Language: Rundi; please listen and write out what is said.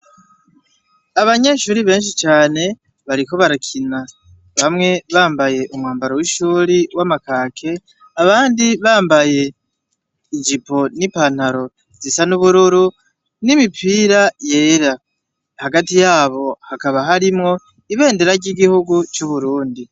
Abanyeshure benshi cane bariko barakina bamwe bambaye umwambaro w'ishure w'amakaki abandi bambaye ijipo n'ipantaro zisa n'ubururu n'imipira yera. Hagati yabo hakaba harimwo ibendera ry'igihugu c'Uburundi